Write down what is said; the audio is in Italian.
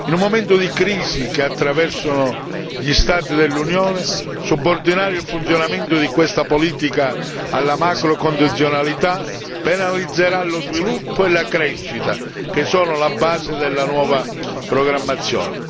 In un momento di crisi che attraversano gli Stati dell'Unione, subordinare il funzionamento di questa politica alla macrocondizionalità penalizzerà lo sviluppo e la crescita, che sono la base della nuova programmazione.